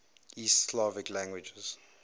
east slavic languages